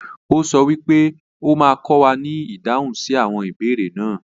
O sọ wípé o ma kọ wà ní ìdáhùn sí àwọn ìbéèrè náà.